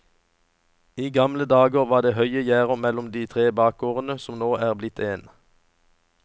I gamle dager var det høye gjerder mellom de tre bakgårdene som nå er blitt én.